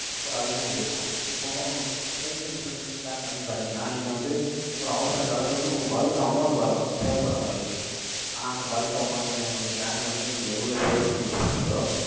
ஒரு அதுதான் இருக்கும். இப்போ, health insurance bank அப்படின்னு பார்த்தீங்கன்னா, நீங்க வந்து, ஒரு அவசர காலத்துல வந்து, உங்களுக்கு bulk க்கு amount வரும், தேவைப்படும் உங்களுக்கு ஆனா, அந்த bulk amount வந்து, உங்களுக்கு bank ல வந்து, நீங்க எவ்வளவு save பண்ணி வச்சிருக்கீங்களோ,